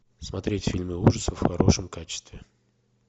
смотреть фильмы ужасов в хорошем качестве